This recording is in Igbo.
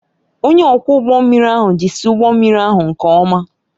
Onye ọkwọ ụgbọ mmiri ahụ jizi ụgbọ mmiri ahụ nke ọma